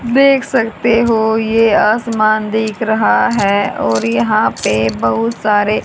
देख सकते हो ये आसमान देख रहा है और यहां पे बहोत सारे--